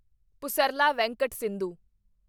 Pusarla Venkata Sindhu